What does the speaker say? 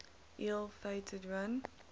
ill fated run